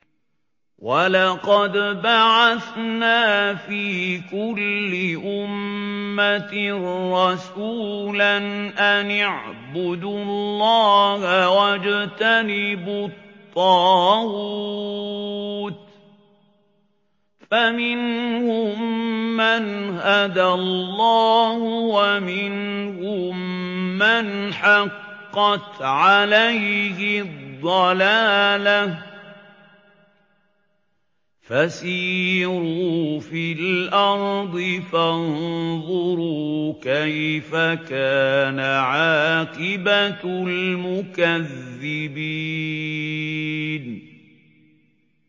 وَلَقَدْ بَعَثْنَا فِي كُلِّ أُمَّةٍ رَّسُولًا أَنِ اعْبُدُوا اللَّهَ وَاجْتَنِبُوا الطَّاغُوتَ ۖ فَمِنْهُم مَّنْ هَدَى اللَّهُ وَمِنْهُم مَّنْ حَقَّتْ عَلَيْهِ الضَّلَالَةُ ۚ فَسِيرُوا فِي الْأَرْضِ فَانظُرُوا كَيْفَ كَانَ عَاقِبَةُ الْمُكَذِّبِينَ